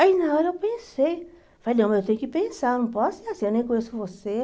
Aí na hora eu pensei, falei, não, mas eu tenho que pensar, não posso ser assim, eu nem conheço você.